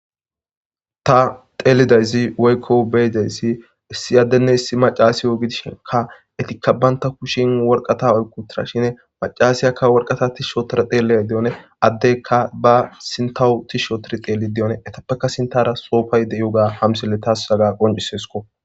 Ta xeelidayzi waykko beyidayssi issi addenne hissi macaasiyo gidisheka etikka baynta kushin worqata olqutira shin macaasiyakka worqata tishshotora deeleya de7one addeykka ba sintahu tishsho tir xeeli deyone etappeka sintara soofayde7yoga hamsille taassaga qoncisesko.